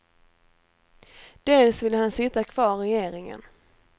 Dels vill han sitta kvar i regeringen.